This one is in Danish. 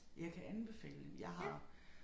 Jeg kan anbefale jeg har